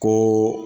Ko